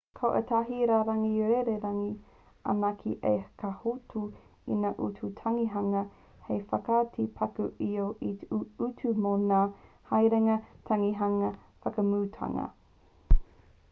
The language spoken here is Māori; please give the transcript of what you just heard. ko ētahi rārangi rererangi anake ka hoatu i ngā utu tangihanga hei whakaiti paku iho i te utu mō ngā haerenga tangihanga whakamutunga